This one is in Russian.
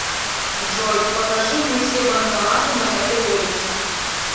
джой покажи мне все банкоматы на этой улице